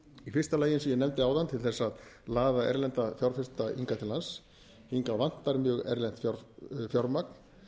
í fyrsta lagi eins og ég nefndi áðan til þess að laða erlenda fjárfesta hingað til lands hingað vantar mjög erlent fjármagn